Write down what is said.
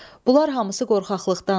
Bunlar hamısı qorxaqlıqdandır.